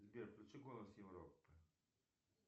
сбер включи голос европы